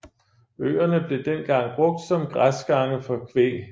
Øerne blevet dengang brugt som græsgange for kvæg